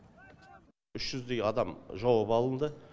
үш жүздей адам жауап алынды